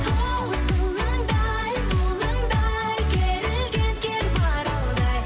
хоу сылаңдай бұлаңдай керілген кер маралдай